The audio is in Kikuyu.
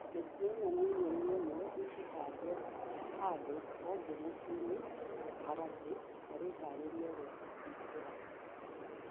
Mĩtĩ ĩno millioni ĩmwe ikuhandwò hado hothe mucĩĩnĩ kaharati tà rĩharĩria ria kuhingũra mathako.